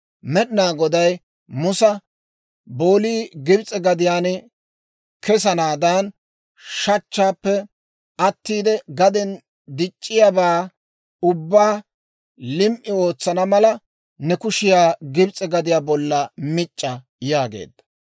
Med'inaa Goday Musa, «Boolii Gibs'e gadiyaan kesanaadan, shachchaappe attiide gaden dic'c'iyaabaa ubbaa lim"i ootsana mala, ne kushiyaa Gibs'e gadiyaa bollan mic'c'a» yaageedda.